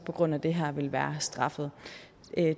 på grund af det her vil være straffet